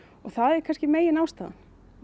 það er megin ástæðan